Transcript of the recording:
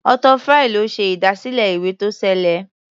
Arthur Fry ló ṣe ìdásílẹ̀ ìwé-tó-ṣeé-lẹ̀.